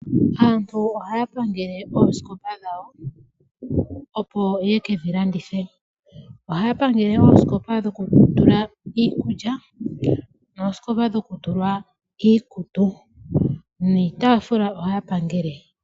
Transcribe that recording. Aantu ohaa pangele oosikopa dhawo opo yekedhi landithe, ohaa pangele oosikopa dhoku tulwa iikulya niikutu yawo ohaa pangele woo niitafula.